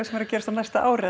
sem er að gerast á næsta ári